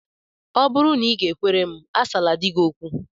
Ọ bụrụ na ị g-ekwere m, asala di gị okwu!